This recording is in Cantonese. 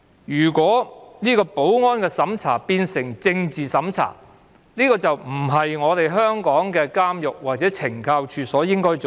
如果保安審查變成政治審查，這就並非香港的監獄或懲教署該做的事。